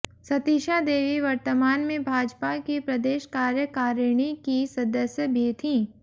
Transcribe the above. सतीशा देवी वर्तमान में भाजपा की प्रदेश कार्यकारिणी की सदस्य भी थीं